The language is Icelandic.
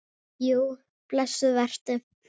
BÓNDI: Jú, blessuð vertu.